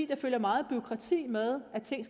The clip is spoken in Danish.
der følger meget bureaukrati med når ting